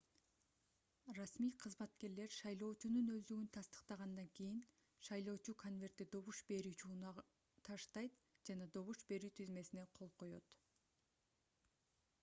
расмий кызматкерлер шайлоочунун өздүгүн тастыктагандан кийин шайлоочу конвертти добуш берүүчү урнага таштайт жана добуш берүү тизмесине кол коёт